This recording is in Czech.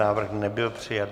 Návrh nebyl přijat.